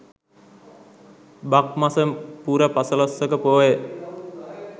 බක් මස පුර පසළොස්වක පෝය